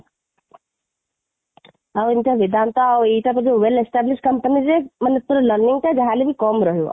ଆଉ ଏଇଟା ବେଦାନ୍ତ ଆଉ ଏଇଟା ବୋଧେ well establish company ରେ ମାନେ ତୋର learning ଟା ଯାହାହେଲେ ବି କମ ରହିବ